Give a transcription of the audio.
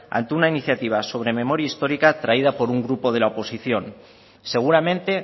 ante una iniciativa sobre memoria histórica traída por un grupo de la oposición seguramente